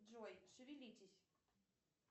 джой шевелитесь